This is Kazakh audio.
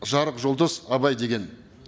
жарық жұлдыз абай деген